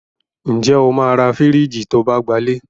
Ǹ jẹ́ o máa ra fìríjìì to bá gbalé.